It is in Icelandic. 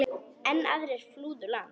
Enn aðrir flúðu land.